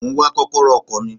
Mo ń wá kọ́kọ́rọ́ ọkọ̀ mi.